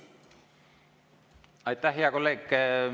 Aitäh, hea kolleeg!